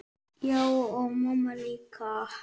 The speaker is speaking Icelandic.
Já, og mamma líka.